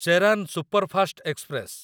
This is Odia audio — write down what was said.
Cheran superfast express